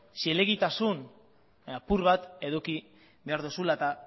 zilegitasun apur bat eduki behar duzula eta